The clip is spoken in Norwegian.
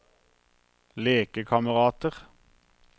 lekekamerater